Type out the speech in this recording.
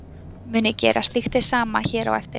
Mun ég gera slíkt hið sama hér á eftir.